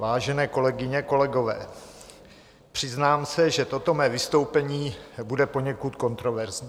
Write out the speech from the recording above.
Vážené kolegyně, kolegové, přiznám se, že toto mé vystoupení bude poněkud kontroverzní.